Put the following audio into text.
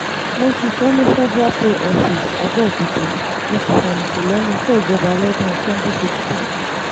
mo ṣiṣẹ́ ní cs] federal pay office abeokuta mo sì fẹ̀yìntì lẹ́nu iṣẹ́ ìjọba lọ́dún twenty sixteen